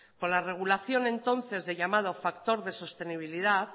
con la regulación entonces del llamado factor de sostenibilidad